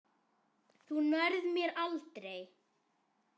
Þú nærð mér aldrei!